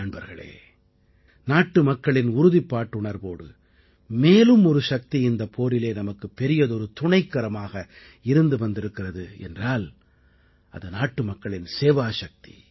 நண்பர்களே நாட்டுமக்களின் உறுதிப்பாட்டுணர்வோடு மேலும் ஒரு சக்தி இந்தப் போரிலே நமக்கு பெரியதொரு துணைக்கரமாக இருந்து வந்திருக்கிறது என்றால் அது நாட்டுமக்களின் சேவாசக்தி